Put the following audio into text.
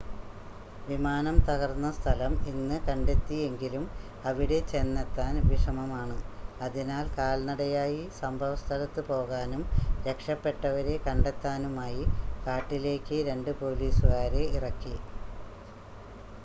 വിമാനം തകർന്ന സ്ഥലം ഇന്ന് കണ്ടെത്തി എങ്കിലും അവിടെ ചെന്നെത്താൻ വിഷമമാണ് അതിനാൽ കാൽനടയായി സംഭവസ്ഥലത്ത് പോകാനും രക്ഷപ്പെട്ടവരെ കണ്ടെത്താനുമായി കാട്ടിലേക്ക് രണ്ട് പോലീസുകാരെ ഇറക്കി